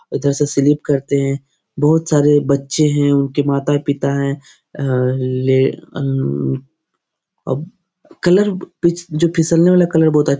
उधर से स्लिप करते हैं बहोत सारे बच्चे हैं उनके माता पिता है अ ले अ अब कलर पिच जो फिसलने वाला कलर बहोत अ --